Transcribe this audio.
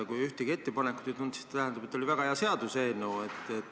Kui ühtegi ettepanekut ei tulnud, siis tähendab, et oli väga hea seaduseelnõu.